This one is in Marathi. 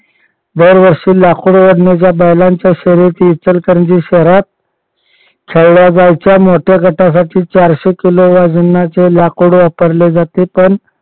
दरवर्षी लाकूड ओढणीच्या शर्यती इचलकरंजी शहरात खेळल्या जायच्या मोठ्या गटासाठी चारशे किलो वजनाचे लाकूड वापरले जाते पण